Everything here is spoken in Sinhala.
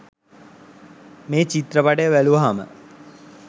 මේ චිත්‍රපටය බැලුවහම